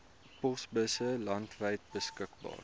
posbusse landwyd beskikbaar